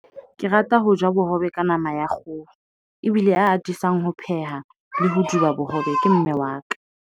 Ke rata ho ja bohobe ka nama ya kgoho. Ebile a atisang ho pheha le hoduma bohobe. Ke mme wa ka.